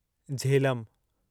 Jhelum